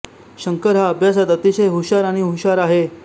शंकर हा अभ्यासात अतिशय हुशार आणि हुशार आहे